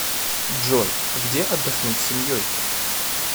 джой где отдохнуть с семьей